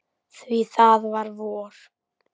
Því það var vor.